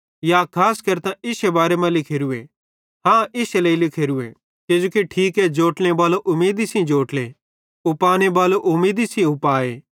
या खास केरतां इश्शे बारे मां लिखोरू हाँ इश्शे लेइ लिखोरूए किजोकि ठीके कि जोट्लने बालो उमीदी सेइं जोट्ले उपाने बालो उमीदी सेइं उपाए